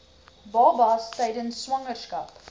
babas tydens swangerskap